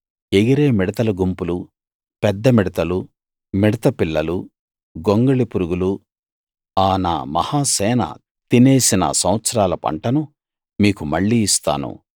ఎగిరే మిడతల గుంపులూ పెద్ద మిడతలూ మిడత పిల్లలూ గొంగళి పురుగులూ ఆ నా మహాసేన తినేసిన సంవత్సరాల పంటను మీకు మళ్ళీ ఇస్తాను